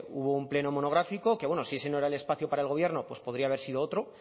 hubo un pleno monográfico que bueno si ese no era el espacio para el gobierno pues podría haber sido otro